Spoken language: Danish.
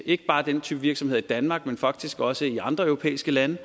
ikke bare den type virksomheder i danmark men faktisk også i andre europæiske lande